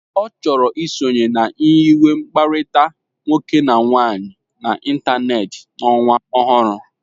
Ọ chọrọ isonye na nyiwe mkpakọrịta nwoke na nwaanyị n'ịntanetị n'ọnwa ọhụrụ.